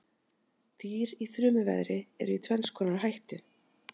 Dýr í þrumuveðri eru í tvenns konar hættu.